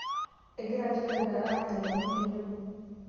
egira ilchoreta anya ilomon tenebo